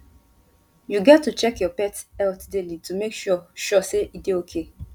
you get to check your pets health daily to make sure sure say e dey okay